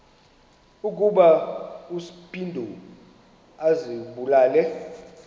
ukuba uspido azibulale